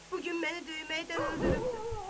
Bugün məni döyməkdən öldürübdür.